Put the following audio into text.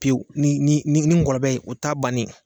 Pewu ni ni ni ngɔlɔbɛ ye u ta bannen ye.